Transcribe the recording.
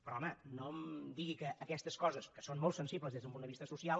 però home no em digui que aquestes coses que són molt sensibles des d’un punt de vista social